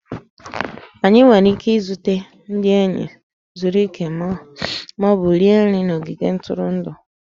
Anyị nwere ike izute ndị enyi, zuru ike, ma ọ bụ rie nri n'ogige ntụrụndụ